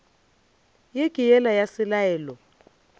ye ke yela ya selalelo